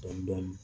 Dɔɔnin dɔɔnin